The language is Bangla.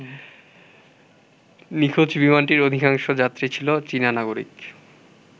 নিখোঁজ বিমানটির অধিকাংশ যাত্রী ছিল চীনা নাগরিক।